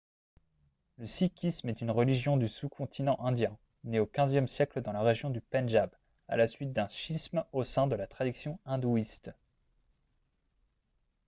le sikhisme est une religion du sous-continent indien née au xve siècle dans la région du pendjab à la suite d'un schisme au sein de la tradition hindouiste